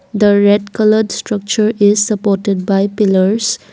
The red coloured structure is supported by pillars.